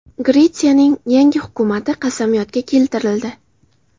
Gretsiyaning yangi hukumati qasamyodga keltirildi.